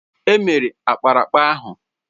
È mere ákpáraàkpà ahụ